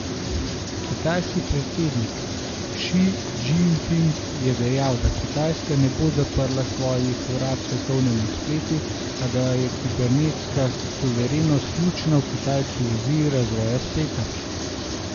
Kitajski predsednik Ši Džinping je dejal, da Kitajska ne bo zaprla svojih vrat svetovnemu spletu, a da je kibernetska suverenost ključna v kitajski viziji razvoja spleta.